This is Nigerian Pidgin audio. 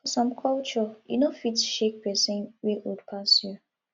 for some culture you no fit shake person wey old pass you